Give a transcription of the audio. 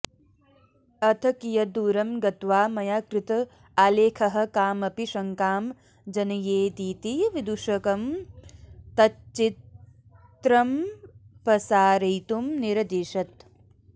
अथ कियद्रूरं गत्वा मया कृत आलेखः कामपि शङ्कां जनयेदिति विदूषकं तच्चित्रमपसारयितुं निरदिशत्